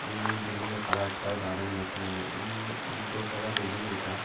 উম building এর colour টাও দারুন এখানে উম উম দোতলা বিল্ডিং এটা।